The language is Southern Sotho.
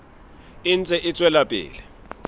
e ntse e tswela pele